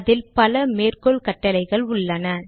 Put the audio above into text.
அதில் பல மேற்கோள் கட்டளைகள் உள்ளன